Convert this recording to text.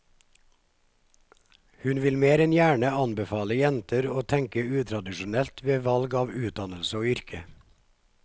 Hun vil mer enn gjerne anbefale jenter å tenke utradisjonelt ved valg av utdannelse og yrke.